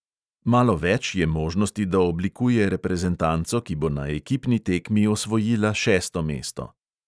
Malo več je možnosti, da oblikuje reprezentanco, ki bo na ekipni tekmi osvojila šesto mesto.